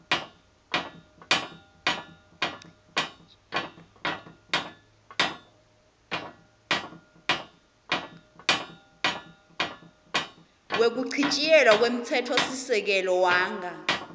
wekuchitjiyelwa kwemtsetfosisekelo wanga